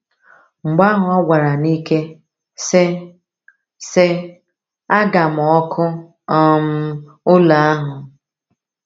Mgbe ahụ ọ gwara n’ike, sị: sị: “Aga m ọkụ um ụlọ ahụ!”